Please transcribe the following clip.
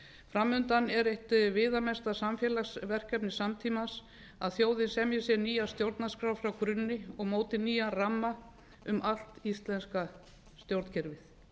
framundan er eitt viðamesta samfélagsverkefni samtímans að þjóðin semji sér nýja stjórnarskrá frá grunni og móti sér nýjan ramma um allt íslenska stjórnkerfið